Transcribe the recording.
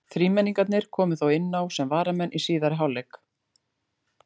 Þrímenningarnir komu þó inná sem varamenn í síðari hálfleik.